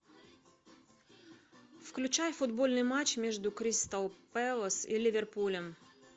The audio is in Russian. включай футбольный матч между кристал пэлас и ливерпулем